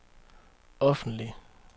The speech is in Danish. offentlig